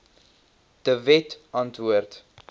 de wet antwoord